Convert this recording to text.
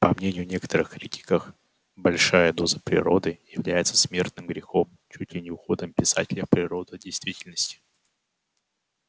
по мнению некоторых критиках большая доза природы является смертным грехом чуть ли не уходом писателя в природу от действительности